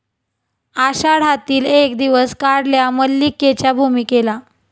आषाढातील एक दिवस 'काढल्या 'मल्लिके 'च्या भूमिकेला